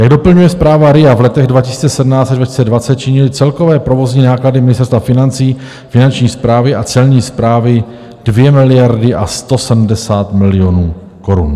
Jak doplňuje zpráva RIA, v letech 2017 až 2020 činily celkové provozní náklady Ministerstva financí, Finanční správy a Celní správy 2 miliardy a 170 milionů korun.